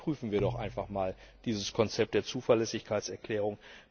Überprüfen wir doch einfach mal dieses Konzept der Zuverlässigkeitserklärung.